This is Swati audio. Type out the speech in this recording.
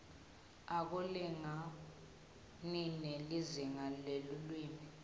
akulingani nelizingaa lelulwimi